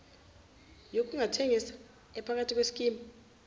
yokungathekisa ephakathi kweskimu